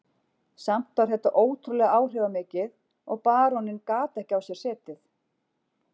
Samt var þetta ótrúlega áhrifamikið og baróninn gat ekki á sér setið.